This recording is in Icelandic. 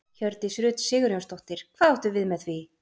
Hjördís Rut Sigurjónsdóttir: Hvað áttu við með því?